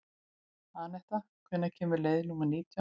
Anetta, hvenær kemur leið númer nítján?